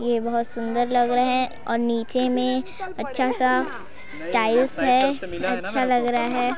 ये बहुत सुंदर लग रहे है और नीचे में अच्छा सा टाइल्स है अच्छा लग रहा है ।